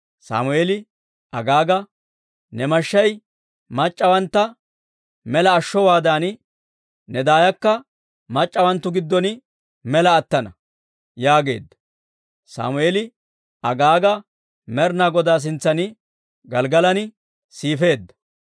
Sammeeli Agaaga, «Ne mashshay mac'c'awantta mela ashshowaadan, ne daayakka mac'c'awanttu giddon mela attana» yaageedda. Sammeeli Agaaga Med'inaa Godaa sintsan Gelggalan siifeedda.